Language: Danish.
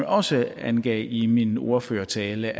også angav i min ordførertale